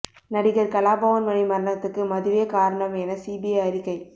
நடிகர் கலாபவன் மணி மரணத்துக்கு மதுவே காரணம் என சிபிஐ அறிக்கை